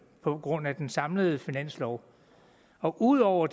på grund af den samlede finanslov ud over